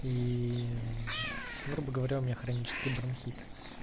и грубо говоря у меня хронический бронхит